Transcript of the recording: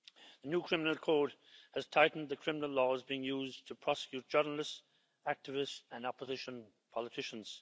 The new Criminal Code has tightened the criminal laws being used to prosecute journalists, activists and opposition politicians.